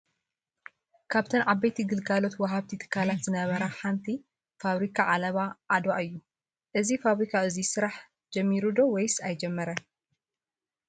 ካብተን ዓበይቲ ግልጋሎት ወሃብቲ ትካላት ዝነበራ ሓንቲ ፋብሪካ ዓለባ ዓድዋ እዩ ። እዚ ፋብሪካ እዙይ ስራሕ ጀሚሪ ዶ ? ውይስ ኣይጅመረን ?